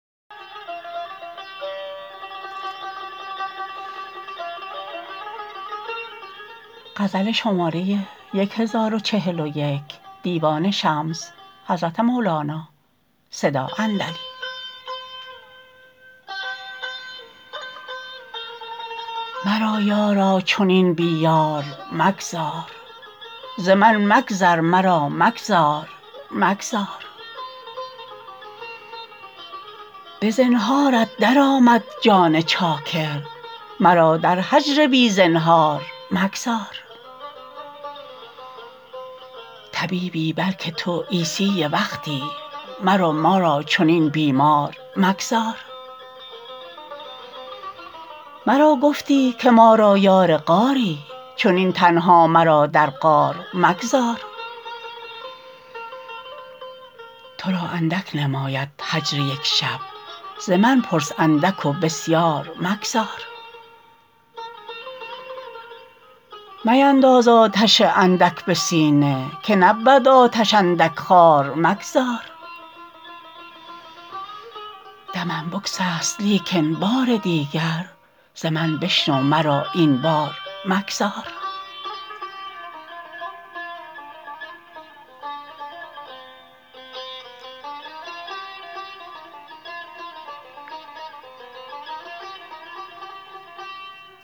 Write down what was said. مرا یارا چنین بی یار مگذار ز من مگذر مرا مگذار مگذار به زنهارت درآمد جان چاکر مرا در هجر بی زنهار مگذار طبیبی بلک تو عیسی وقتی مرو ما را چنین بیمار مگذار مرا گفتی که ما را یار غاری چنین تنها مرا در غار مگذار تو را اندک نماید هجر یک شب ز من پرس اندک و بسیار مگذار مینداز آتش اندک به سینه که نبود آتش اندک خوار مگذار دمم بگسست لیکن بار دیگر ز من بشنو مرا این بار مگذار